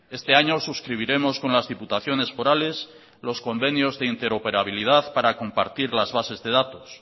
este año suscribiremos con las diputaciones forales los convenios de interoperabilidad para compartir las bases de datos